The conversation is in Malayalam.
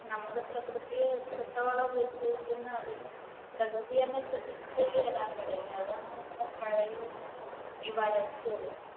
നമ്മൾ പ്രകൃതിയെ എത്രത്തോളം ഉപദ്രവിക്കുന്നു അതിനു പ്രകൃതി തന്നെ തിരിച്ചടി തരാൻ തുടങ്ങി അതാണ് ഇപ്പോൾ പ്രളയവും ഈ വരൾച്ചയും.